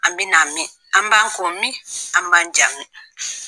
An bɛ na min? an b'an ko min? an b'an ja min?